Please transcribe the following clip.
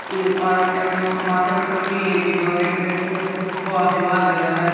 एक औरत ने अपने माथे पर टोकरी ली हुई है एक व्यक्ति अपने सबको आशीर्वाद दे रहा है।